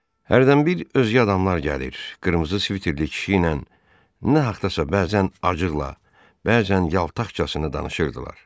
Hərdən bir özgə adamlar gəlir, qırmızı sviterli kişi ilə nə haqqdasa bəzən acıqla, bəzən yaltaqcasına danışırdılar.